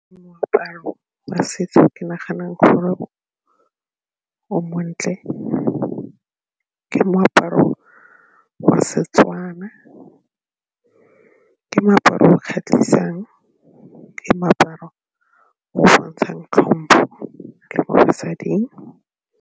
Moaparo wa setso ke naganang gore o montle ke moaparo wa Setswana, ke moaparo o kgatlhisang, ke moaparo o o bontshang tlhompho le mo basading.